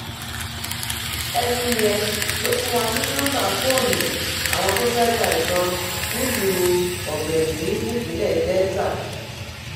ẹni yẹn ló fún wa ní nọmba fóònù àwọn tó fẹẹ ta ìbọn nílùú ògbẹlì nípìnlẹ delta